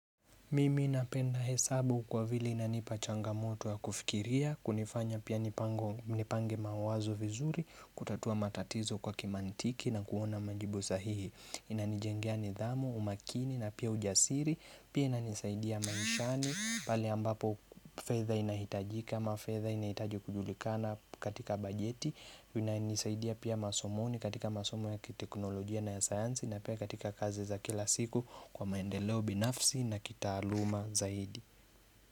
Mimi napenda hesabu kwa vile inanipachangamoto ya kufikiria, kunifanya pia nipange mawazo vizuri, kutatua matatizo kwa kimantiki na kuona majibu sahihi Inanijengia nidhamu, umakini na pia ujasiri, pia inanisaidia maishani, palenambapo fedha inahitajika, ama fedha inahitaji kujulikana katika bajeti inanisaidia pia masomoni katika masomoni ya kiteknolojia na ya sayansi na pia katika kazi za kila siku kwa maendeleo binafsi na kitaaluma zaidi.